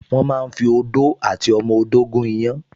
Wọ́n máa ń fi odó àti ọmọ odó gún iyán